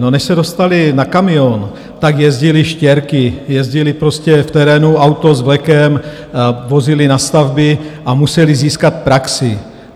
No, než se dostali na kamion, tak jezdili štěrky, jezdili prostě v terénu, auto s vlekem, vozili na stavby a museli získat praxi.